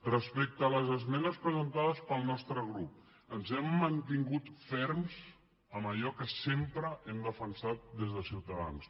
respecte a les esmenes presentades pel nostre grup ens hem mantingut ferms en allò que sempre hem defensat des de ciutadans